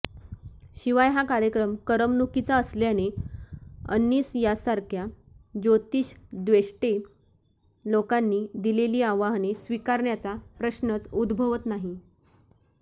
शिवाय हा कार्यक्रम करमणूकीचा असल्याने अंनिस सारख्या ज्योतिषद्वेष्टे लोकांनी दिलेली आव्हाने स्वीकारण्याचा प्रश्नच उदभवत नाही